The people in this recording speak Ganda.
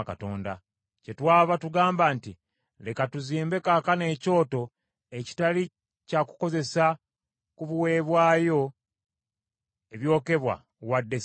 “Kyetwava tugamba nti, ‘Leka tuzimbe kaakano ekyoto ekitali kya kukozesa ku biweebwayo ebyokebwa, wadde ssaddaaka,’